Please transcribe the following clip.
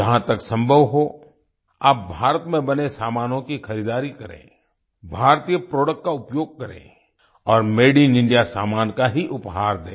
जहां तक संभव हो आप भारत में बने सामानों की खरीदारी करें भारतीय प्रोडक्ट का उपयोग करें और मादे इन इंडिया सामान का ही उपहार दें